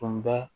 Tun bɛ